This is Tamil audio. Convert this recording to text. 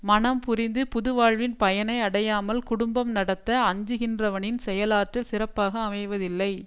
மணம் புரிந்து புதுவாழ்வின் பயனை அடையாமல் குடும்பம் நடத்த அஞ்சுகின்றவனின் செயலாற்றல் சிறப்பாக அமைவதில்லை